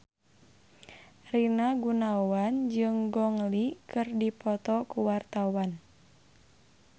Rina Gunawan jeung Gong Li keur dipoto ku wartawan